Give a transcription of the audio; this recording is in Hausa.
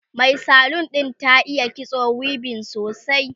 Mai salon ɗin ta iya kitso weaving sosai